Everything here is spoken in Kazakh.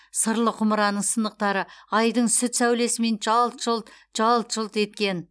сырлы құмыраның сынықтары айдың сүт сәулесімен жалт жұлт жалт жұлт еткен